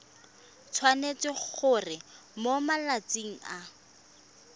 tshwanetse gore mo malatsing a